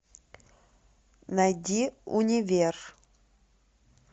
найди универ